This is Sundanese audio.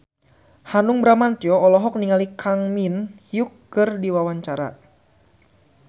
Hanung Bramantyo olohok ningali Kang Min Hyuk keur diwawancara